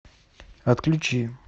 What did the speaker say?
отключи